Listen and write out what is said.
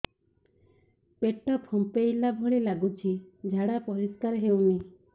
ପେଟ ଫମ୍ପେଇଲା ଭଳି ଲାଗୁଛି ଝାଡା ପରିସ୍କାର ହେଉନି